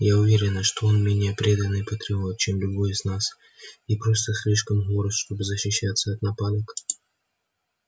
я уверена что он не менее преданный патриот чем любой из нас и просто слишком горд чтобы защищаться от нападок